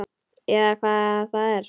Eða hvað það er.